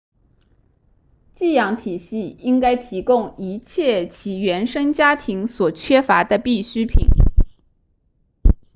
寄养体系应该提供一切其原生家庭所缺乏的必需品